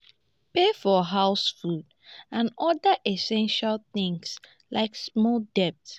pay for house food and oda essestial things like small debts